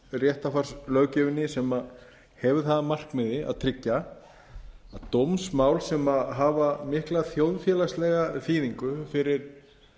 réttarfarslöggjöfinni sem hefur það að markmiði að tryggja að dómsmál sem hafa mikla þjóðfélagslega þýðingu fyrir